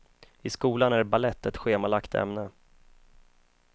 I skolan är balett ett schemalagt ämne.